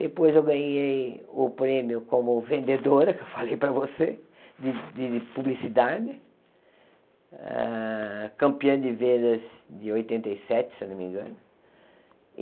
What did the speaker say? Depois eu ganhei o prêmio como vendedora, que eu falei para você, de de de publicidade, hã campeã de vendas de oitenta e sete, se eu não me engano.